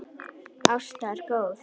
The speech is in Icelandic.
Ásta er góð.